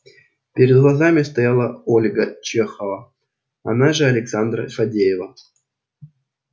перед глазами стояла ольга чехова она же александра фадеева